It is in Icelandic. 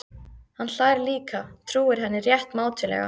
Hann hlær líka, trúir henni rétt mátulega.